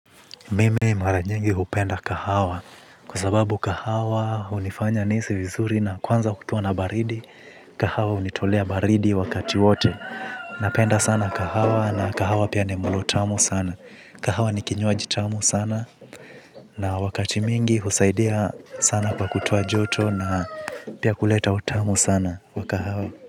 Mimi mara nyingi hupenda kahawa kwa sababu kahawa hunifanya niisi vizuri na kwanza kukiwa na baridi kahawa unitolea baridi wakati wote napenda sana kahawa na kahawa pia ni mlo tamu sana kahawa ni kinywaji tamu sana na wakati mingi husaidia sana kwa kutoa joto na pia kuleta utamu sana wa kahawa.